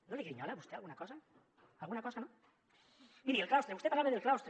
no li grinyola a vostè alguna cosa alguna cosa no miri el claustre vostè parlava del claustre